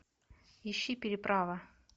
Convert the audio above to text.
ищи переправа